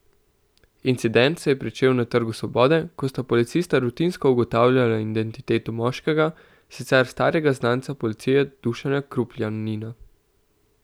Incident se je pričel na Trgu svobode, ko sta policista rutinsko ugotavljala identiteto moškega, sicer starega znanca policije Dušana Krupljanina.